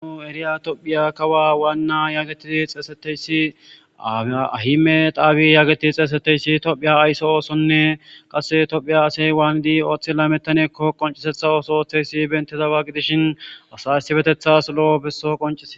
Anu eriya tophiya kawa waanna yaagetii xeeseteysi aahime daabi yaageti xeeseteyssi tophiya ayse oosonne qasse tophiya asey waanidi ooththi lametanekko qoncisetha ooso ooththeysi bentezawa gidishin asa issibetethas lo7o besso qoncie.